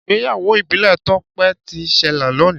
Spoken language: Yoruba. Ìgbéyáwó ibile tope ti n sele loni.